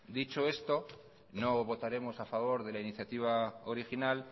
dicho esto no votaremos a favor de la iniciativa original